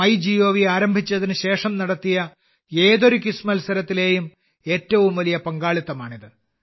മൈഗോവ് ആരംഭിച്ചതിനുശേഷം നടത്തിയ ഏതൊരു ക്വിസ് മത്സരത്തിലെയും ഏറ്റവും വലിയ പങ്കാളിത്തമാണിത്